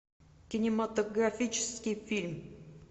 кинематографический фильм